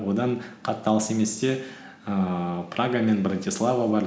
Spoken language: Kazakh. одан қатты алыс еместе ііі прага мен братислава бар